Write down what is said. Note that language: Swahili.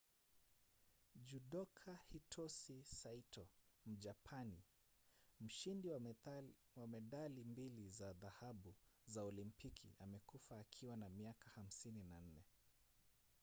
judoka hitosi saito mjapani mshindi wa medali mbili za dhahabu za olimpiki amekufa akiwa na miaka 54